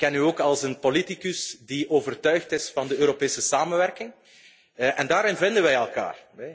Ik ken u ook als een politicus die overtuigd is van de Europese samenwerking en daarin vinden we elkaar.